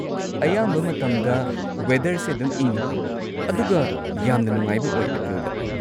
ꯑꯌꯥꯝꯕ ꯃꯇꯝꯗ, ꯋꯦꯗꯔꯁꯦ ꯑꯗꯨꯝ ꯏꯪꯉꯤ ꯑꯗꯨꯒ ꯌꯥꯝꯅ ꯅꯨꯡꯉꯥꯏꯕ ꯑꯣꯏ ꯑꯦꯄ꯭ꯔꯤꯜꯗ꯫